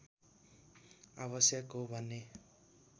आवश्यक हो भन्ने